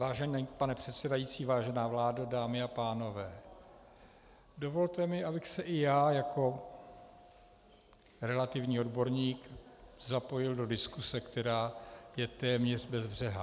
Vážený pane předsedající, vážená vládo, dámy a pánové, dovolte mi, abych se i já jako relativní odborník zapojil do diskuse, která je téměř bezbřehá.